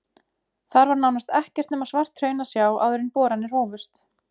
Þar var nánast ekkert nema svart hraun að sjá áður en boranir hófust.